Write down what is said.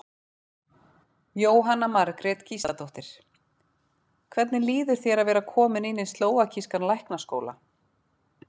Jóhanna Margrét Gísladóttir: Hvernig líður þér að vera kominn inn í slóvakískan læknaskóla?